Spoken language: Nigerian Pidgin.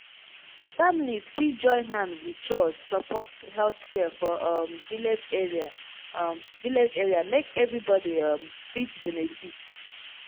families fit join hand wit chws support health care for um village area um village area make everybody um fit benefit.